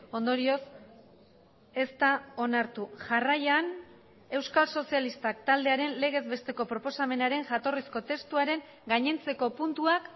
ondorioz ez da onartu jarraian euskal sozialistak taldearen legez besteko proposamenaren jatorrizko testuaren gainontzeko puntuak